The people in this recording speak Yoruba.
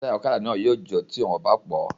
Táyà ọ̀kadà náà yóò jò tí wọn kò bá pọ́ ọ